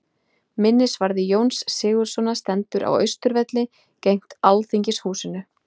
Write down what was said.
Minnisvarði Jóns Sigurðssonar stendur á Austurvelli, gegnt Alþingishúsinu.